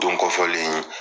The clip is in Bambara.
Don kɔ fɔlen in